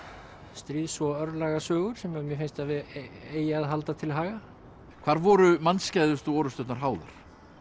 stríðs og sem mér finnst að eigi að halda til haga hvar voru orrusturnar háðar